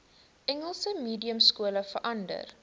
engels mediumskole verander